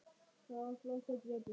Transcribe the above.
Það var flottur gripur.